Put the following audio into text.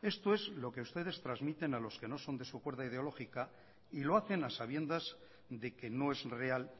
esto es lo que ustedes transmiten a los que no son de su cuerda ideológica y lo hacen a sabiendas de que no es real